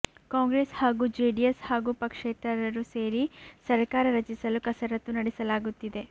ಕಾಂಗ್ರೆಸ್ ಹಾಗೂ ಜೆಡಿಎಸ್ ಹಾಗೂ ಪಕ್ಷೇತರರು ಸೇರಿ ಸರ್ಕಾರ ರಚಿಸಲು ಕಸರತ್ತು ನಡೆಸಲಾಗುತ್ತಿದೆ